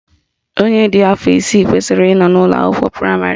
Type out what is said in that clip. Onye dị afọ isii kwesịrị ị nọ na ụlọakwụkwọ praịmarị